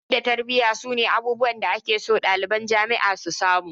Ilimi da tarbiyya su ne abubuwan da ake so ɗaliban jami'a su samu